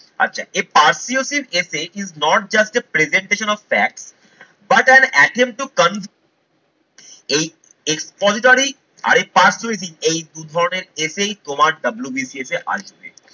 আচ্ছা a persuasive essay is not just a presentation of fact but an attempt to এই expository আর এই persuasive এই দু ধরনের essay তোমার WBCS এ আসবে।